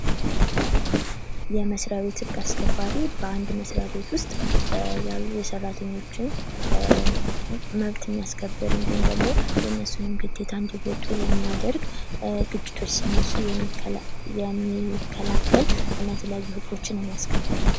የመስሪያ ቤት ህግ አስከባሪ በአንድ መስሪያ ቤት ውስጥ ያሉ የሰራተኞችን መብት የሚያስከብር እንዲሁም ደግሞ የእነሱንም ግዴታ እንዲወጡ የሚያደርግ ፣ ግጭቶች ሲነሱ የሚከላከል እና የተለያዩ ህጎችን የሚያስከብር ነው ።